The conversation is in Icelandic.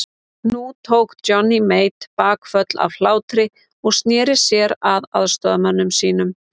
Nú tók Johnny Mate bakföll af hlátri og sneri sér að aðstoðarmönnum sínum.